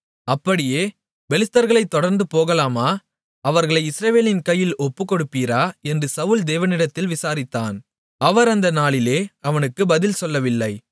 அப்படியே பெலிஸ்தர்களைத் தொடர்ந்து போகலாமா அவர்களை இஸ்ரவேலின் கையில் ஒப்புக்கொடுப்பீரா என்று சவுல் தேவனிடத்தில் விசாரித்தான் அவர் அந்த நாளிலே அவனுக்கு பதில் சொல்லவில்லை